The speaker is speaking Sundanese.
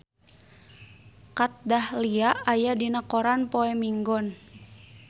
Kat Dahlia aya dina koran poe Minggon